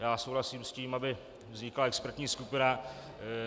Já souhlasím s tím, aby vznikla expertní skupina.